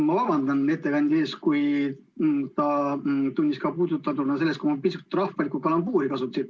Ma vabandan ettekandja ees, kui ta tundis end puudutatuna sellest, kui ma pisut rahvalikku kalambuuri kasutasin.